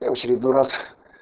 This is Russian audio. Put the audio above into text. я в очередной раз